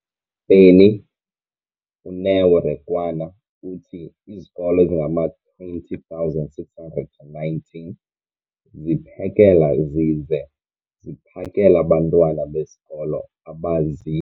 beni, uNeo Rakwena, uthi izikolo ezingama-20 619 ziphekela zize ziphakele abantwana besikolo abazi-